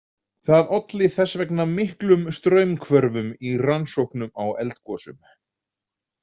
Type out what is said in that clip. Það olli þess vegna miklum straumhvörfum í rannsóknum á eldgosum.